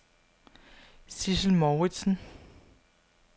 Sidsel Mouritsen